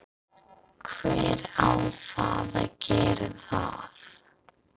hver á þá að gera það?